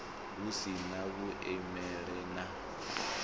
hu si na vhuleme na